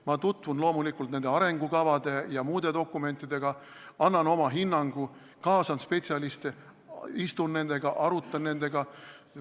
Ma tutvun loomulikult arengukavade ja muude dokumentidega, annan oma hinnangu, kaasan spetsialiste, istun nendega koos, arutan nendega.